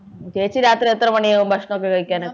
ചേച്ചി രാത്രി എത്ര മണിയാകും ഭക്ഷണൊക്കെ കഴിക്കാന്